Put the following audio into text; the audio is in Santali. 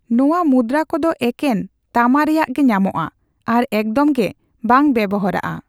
ᱱᱚᱣᱟ ᱢᱩᱫᱽᱨᱟ ᱠᱚᱫᱚ ᱮᱠᱮᱱ ᱛᱟᱢᱟ ᱨᱮᱭᱟᱜ ᱜᱮ ᱧᱟᱢᱚᱜᱼᱟ ᱟᱨ ᱮᱠᱫᱚᱢ ᱜᱮ ᱵᱟᱝ ᱵᱮᱣᱦᱟᱨᱚᱜᱼᱟ ᱾